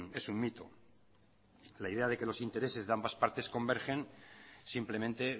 es un mito la idea de que los intereses de ambas partes convergen simplemente